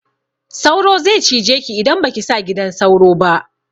Sauro ze cije ki idan baki sa gidan sauro ba